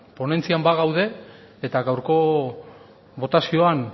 ponentzian bagaude eta gaurko botazioan